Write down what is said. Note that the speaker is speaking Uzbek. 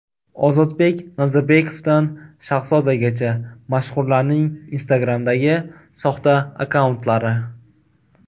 Ozodbek Nazarbekovdan Shahzodagacha: mashhurlarning Instagram’dagi soxta akkauntlari.